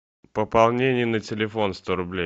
пополнение на телефон сто рублей